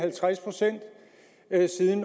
jeg sige